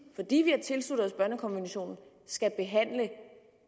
fordi vi har tilsluttet os børnekonventionen skal behandle